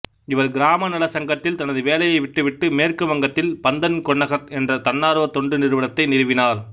இவர் கிராம நலச் சங்கத்தில் தனது வேலையை விட்டுவிட்டு மேற்கு வங்கத்தில் பந்தன்கொன்னகர் என்ற தன்னார்வ தொண்டு நிறுவனத்தை நிறுவினார்